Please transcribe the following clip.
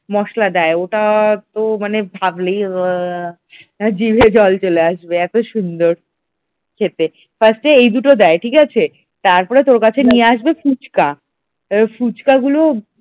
মসলা দেয় ওটা তো মানে ভাবলেই জিভে জল চলে আসবে এত সুন্দর খেতে first এই দুটো দেয় ঠিক আছে তারপরে তোর কাছে নিয়ে আসবে ফুচকা ফুচকাগুলো